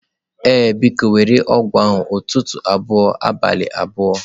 Ee, biko, were ọgwụ a ụtụtụ abụọ abalị abụọ.